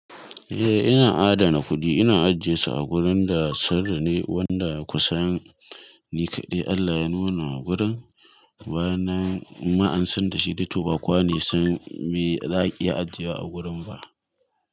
Eh ina adana kuɗi, ina ajjiyesu a gurin da sirri ne wanda kusan ni kaɗai Allah ya nuna wa gurin. Bayan nan in ma an san da shi dai to ba kowa ne yasan me za'a iya ajiyewa a gurin ba.